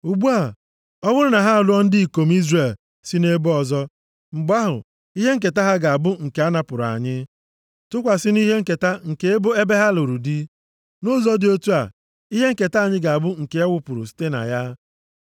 Ugbu a, ọ bụrụ na ha alụọ ndị ikom Izrel si nʼebo ọzọ, mgbe ahụ, ihe nketa ha ga-abụ nke anapụrụ anyị, tụkwasị nʼihe nketa nke ebo ebe ha lụrụ di. Nʼụzọ dị otu a, ihe nketa anyị ga-abụ nke e wepụrụ ihe site na ya.